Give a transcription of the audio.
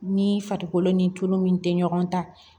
Ni farikolo ni tulu min tɛ ɲɔgɔn ta